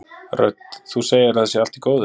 Rödd: Þú segir að það sé allt í góðu?